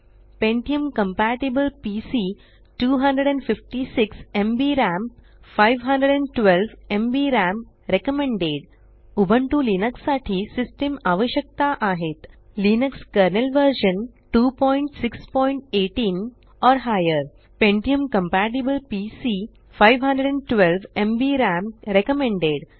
pentium compatible PC 256 MB RAM Ubuntu Linux साठी system आवश्यकता आहेत Linux kernel version 2618 or higher pentium compatible PC 512एमबी RAM recommended